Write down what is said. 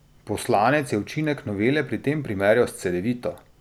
Poslanec je učinek novele pri tem primerjal s cedevito.